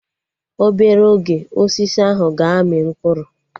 Obere oge, Osisi ahụ ga-amị mkpụrụ